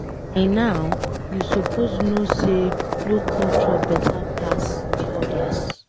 By now, you suppose know say no culture beta pass de others.